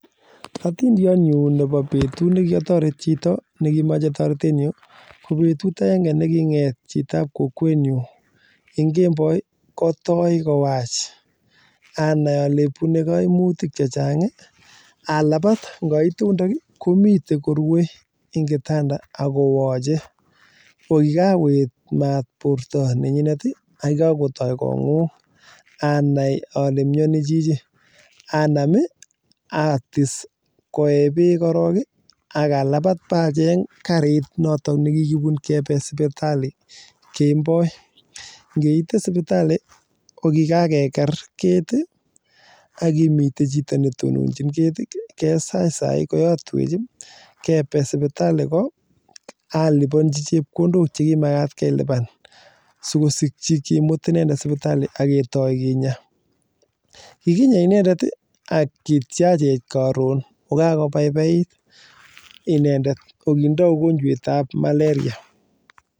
Betut nekiatoret chito ko betut nekiotoret chito neboo kokwet betut nekimnyani inendet atis koee bek akamut sipitalii alipanchii chepkondok chekinyoe akinyaa inendet kobaibait